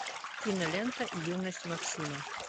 кинолента юность максима